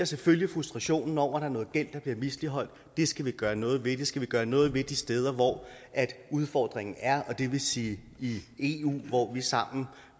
selvfølgelig frustrationen over at der er noget gæld der bliver misligholdt det skal vi gøre noget ved det skal vi gøre noget ved de steder hvor udfordringen er og det vil sige i eu hvor vi sammen